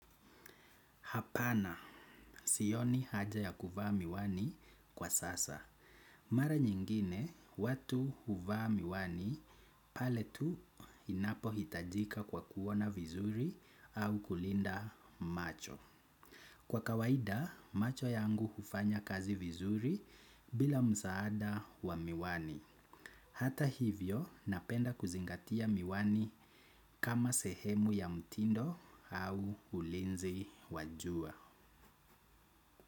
Hapana sioni haja ya kuvaa miwani kwa sasa. Mara nyingine, watu huvaa miwani, pale tu inapo hitajika kwa kuona vizuri au kulinda macho. Kwa kawaida macho yangu hufanya kazi vizuri bila msaada wa miwani. Hata hivyo, napenda kuzingatia miwani kama sehemu ya mtindo au ulinzi wa jua.